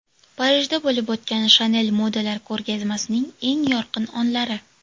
Parijda bo‘lib o‘tgan Chanel modalar ko‘rgazmasining eng yorqin onlari.